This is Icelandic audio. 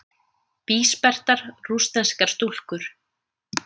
Bísperrtar rússneskar stúlkur.